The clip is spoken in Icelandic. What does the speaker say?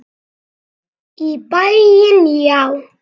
Í bæinn, já!